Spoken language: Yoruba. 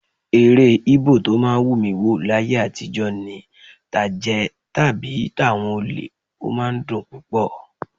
Eré Íbò tó máa ń wù mí wò láyé àtijọ́ ni tàjẹ́ tàbí tàwọn olè; ó máa ń dùn púpọ̀